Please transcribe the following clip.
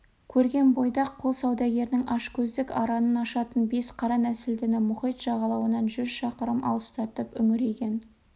көрген бойда-ақ құл саудагерінің ашкөздік аранын ашатын бес қара нәсілдіні мұхит жағалауынан жүз шақырым алыстатып үңірейген